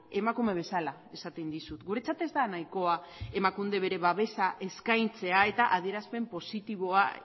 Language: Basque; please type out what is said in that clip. emakume bezala esaten dizut guretzat ez da nahikoa emakundek bere babesa eskaintzea eta adierazpen positiboa